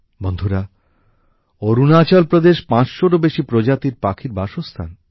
বন্ধুরা অরুণাচল প্রদেশ পাঁচশোরও বেশি প্রজাতির পাখির বাসস্থান